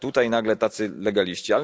A tutaj nagle tacy legaliści.